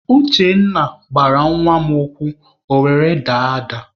Uchenna gbara nwa mụ ụkwụ ọ were daa ada.